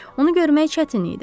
Onu görmək çətin idi.